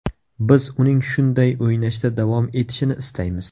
Biz uning shunday o‘ynashda davom etishini istaymiz.